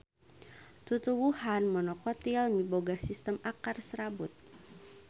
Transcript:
Tutuwuhan monokotil miboga sistem akar serabut.